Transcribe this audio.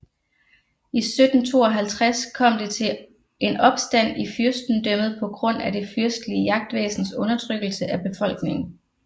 I 1752 kom det til en opstand i fyrstendømmet på grund af det fyrstelige jagtvæsens undertrykkelse af befolkningen